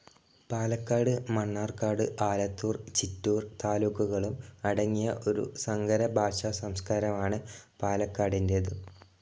പാലക്കാട്, മണ്ണാർക്കാട്, ആലത്തൂർ, ചിറ്റൂർ, താലൂക്കുകളും അടങ്ങിയ ഒരു സങ്കര ഭാഷ സംസ്കാരമാണ് പാലക്കാടിൻ്റേത്.